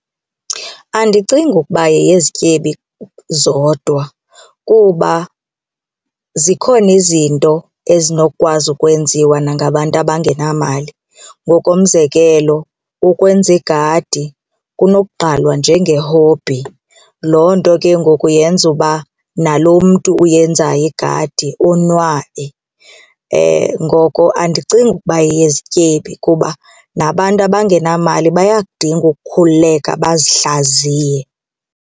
Andicingi ukuba yeyezityebe zodwa kuba zikhona izinto ezinokukwazi ukwenziwa nangabantu abangenamali. Ngokomzekelo ukwenza igadi kunokuqalwa njenge-hobby, loo nto ke ngoku yenza uba nalo mntu uyenzayo igadi onwabe. Ngoko andicingi ukuba yeyezityebi kuba nabantu abangenamali bayakudinga ukukhululeka bazihlaziye.